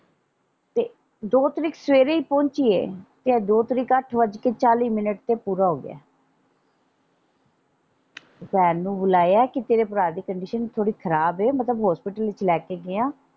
ਤੇ ਦੋ ਤਰੀਕ ਸਵੇਰੇ ਈ ਪਹੁੰਚੀ ਏ ਤੇ ਇਹ ਦੋ ਤਰੀਕ ਅੱਠ ਵੱਜ ਕੇ ਚਾਲੀ ਮਿੰਟ ਤੇ ਪੂਰਾ ਹੋਗਿਆ ਭੈਣ ਨੂੰ ਬੁਲਾਇਆ ਕਿ ਤੇਰੇ ਭਰਾ ਦੀ ਕੰਡੀਸ਼ਨ ਥੋੜੀ ਖਰਾਬ ਏ ਮਤਲਬ ਹੌਸਪੀਟਲ ਵਿੱਚ ਲੈ ਕੇ ਗਏ ਆਂ।